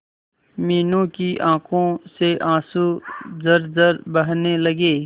मीनू की आंखों से आंसू झरझर बहने लगे